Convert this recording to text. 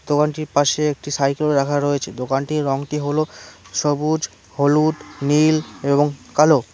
দোকানটির পাশে একটি সাইকেল রাখা রয়েছে দোকানটির রংটি হল সবুজ হলুদ নীল এবং কালো।